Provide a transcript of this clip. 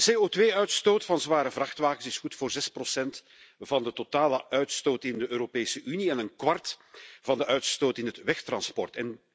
De CO2-uitstoot van zware vrachtwagens is goed voor zes procent van de totale uitstoot in de Europese Unie en een kwart van de uitstoot in het wegtransport.